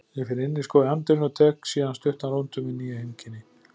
Ég finn inniskó í anddyrinu og tek síðan stuttan rúnt um mín nýju heimkynni